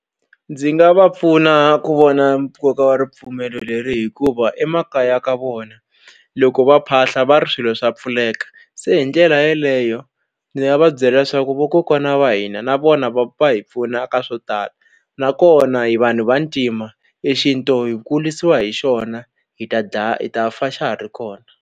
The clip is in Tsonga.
Ndzi nga va pfuna ku vona nkoka wa ripfumelo leri hikuva emakaya ka vona loko va phahla va ri swilo swa pfuleka se hi ndlela yeleyo ndzi nga va byela leswaku vakokwana va hina na vona va hi pfuna ka swo tala nakona hi vanhu vantima e xintu hi kurisiwa hi xona hi ta dlaya hi ta fa xa ha ri kona.